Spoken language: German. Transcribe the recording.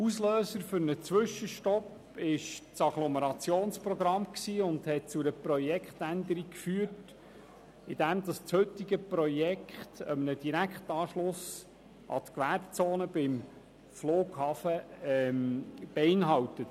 Auslöser für einen Zwischenstopp war das Agglomerationsprogramm, welches zu einer Projektänderung führte, wodurch das heutige Projekt einen Direktanschluss an die Gewerbezone beim Flughafen beinhaltet.